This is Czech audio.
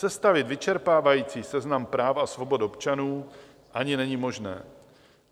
Sestavit vyčerpávající seznam práv a svobod občanů ani není možné.